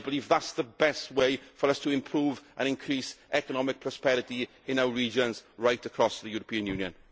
I believe that is the best way for us to improve and increase economic prosperity in our regions right across the European Union.